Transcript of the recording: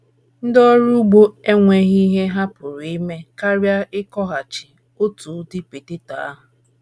Ndị ọrụ ugbo enweghị ihe ha pụrụ ime karịa ịkọghachi otu udị poteto ahụ.